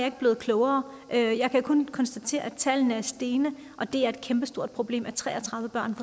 ikke blevet klogere og jeg kan kun konstatere at tallene er stigende og det er et kæmpestort problem at tre og tredive børn